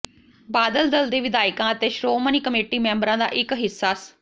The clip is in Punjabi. ਬਾਦਲ ਦਲ ਦੇ ਵਿਧਾਇਕਾਂ ਅਤੇ ਸ਼੍ਰੋਮਣੀ ਕਮੇਟੀ ਮੈਂਬਰਾਂ ਦਾ ਇੱਕ ਹਿੱਸਾ ਸ